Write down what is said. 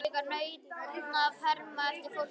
Hann hefur líka nautn af að herma eftir fólki.